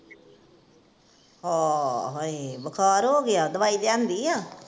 ਹੋ ਹਾਏ, ਬੁਖਾਰ ਹੋ ਗਿਆ ਦਵਾਈ ਲਿਆਂਦੀ ਆ?